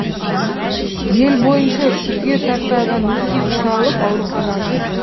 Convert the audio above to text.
ел бойынша жүзге тарта адам үсік шалып ауруханаға түскен